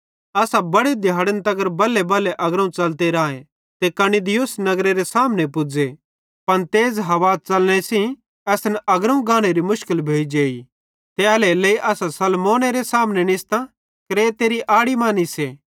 असां बड़े दिहाड़न तगर बल्हेबल्हे अग्रोवं च़लते राए ते कनिदुस नगरेरे सामने पुज़े पन तेज़ हवा च़लने सेइं असन अग्रोवं गानेरी मुशकिल भोइजेइ ते एल्हेरेलेइ असां सलमोनेरे सामने निस्तां क्रेतेरी आड़ी मां निस्से